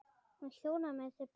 Hún þjónaði mér til borðs.